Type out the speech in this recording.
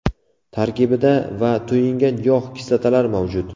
Tarkibida : va to‘yingan yog‘ kislotalari mavjud.